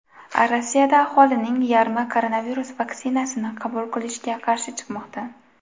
Rossiyada aholining yarmi koronavirus vaksinasini qabul qilishga qarshi chiqmoqda.